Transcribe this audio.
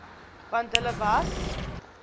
want hulle was